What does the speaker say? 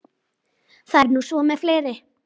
Það er nú svo með fleiri.